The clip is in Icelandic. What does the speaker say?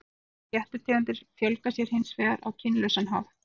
Ýmsar fléttutegundir fjölga sér hins vegar á kynlausan hátt.